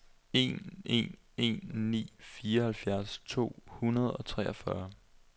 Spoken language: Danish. en en en ni fireoghalvfjerds to hundrede og treogfyrre